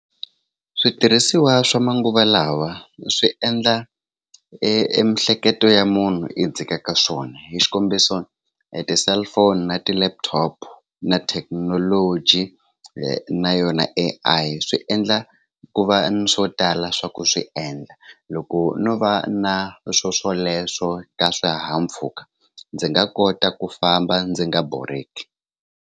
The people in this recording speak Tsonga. Switirhisiwa swa manguva lawa swi endla e miehleketo ya munhu yi dzikaka swona hi xikombiso hi ti-cellphone na ti-laptop na thekinoloji na yona A_I swi endla ku va na swo tala swa ku swi endla loko no va na swo swoleswo ka swihahampfhuka ndzi nga kota ku famba ndzi nga borheki.